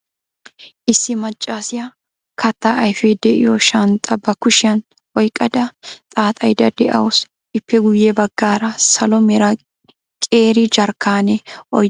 Issi maccassiya kattaa ayfee de'iyo shanxxaa ba kushiyan oyqqada xaaxxayda de'awusu. Ippe guye baggaara salo mera qeeri jarkkaanne oyddati de'oosona.